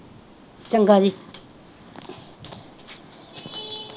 ਚੰਗਾ ਜੀ